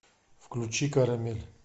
включи карамель